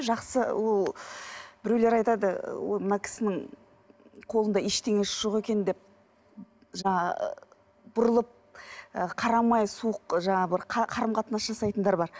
жақсы ол біреулер айтады мына кісінің қолында ештеңесі жоқ екен деп жаңа бұрылып ы қарамай суық жаңағы бір қарым қатынас жасайтындар бар